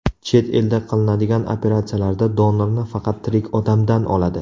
Chet elda qilinadigan operatsiyalarda donorni faqat tirik odamdan oladi.